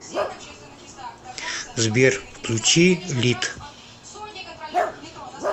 сбер включи лит